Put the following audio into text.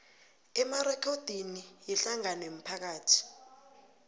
emarekhodini wehlangano yomphakathi